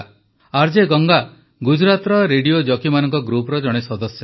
RJ Ganga ଗୁଜରାତର radio ଜକିମାନଙ୍କ ଗ୍ରୁପର ଜଣେ ସଦସ୍ୟା